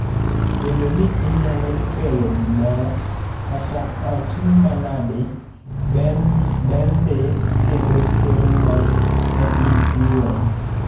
Bedo ni inyalo kelo gimoro, kata otin manadi, ber ndii kendo kelo mor ni in iwuon.